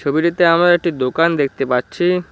ছবিটিতে আমরা একটি দোকান দেখতে পাচ্ছি।